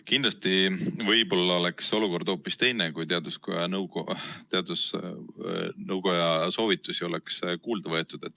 Kindlasti oleks olukord hoopis teine, kui teadusnõukoja soovitusi oleks kuulda võetud.